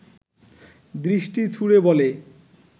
দৃষ্টি ছুড়ে বলে